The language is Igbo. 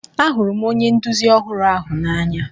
Ahụrụ m onye nduzi ọhụrụ ahu n'anya.